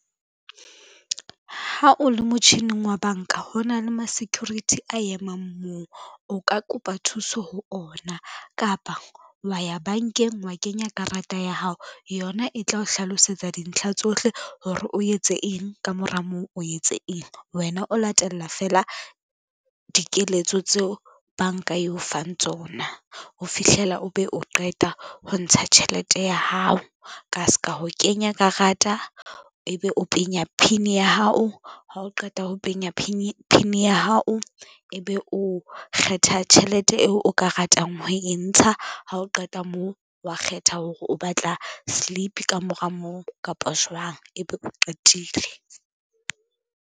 Ha o le motjhining wa banka ho na le ma-security a emang moo, o ka kopa thuso ho ona kapa wa ya bankeng wa kenya karata ya hao, yona e tla o hlalosetsa dintlha tsohle hore o etse eng ka mora moo o etse eng. Wena o latella feela dikeletso tseo banka eo fang tsona ho fihlela o be o qeta ho ntsha tjhelete ya hao. Ka ska ho kenya karata, ebe o penya PIN ya hao ha o qeta ho penya PIN ya hao, ebe o kgetha tjhelete eo o ka ratang ho e ntsha ha o qeta moo, wa kgetha hore o batla slip ka mora moo kapa jwang, ebe o qetile.